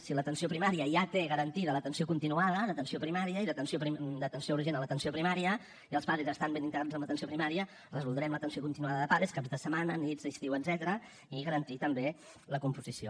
si l’atenció primària ja té garantida l’atenció continuada d’atenció primària i d’atenció urgent a l’atenció primària i els pades estan ben integrats en l’atenció primària resoldrem l’atenció continuada de pades caps de setmana nits estiu etcètera i garantir ne també la composició